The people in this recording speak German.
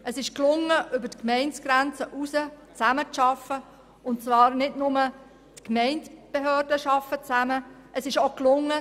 Damit ist es gelungen, auf der Ebene der Gemeindebehörden sowie der Bevölkerung über die Gemeindegrenzen hinaus zusammenzuarbeiten.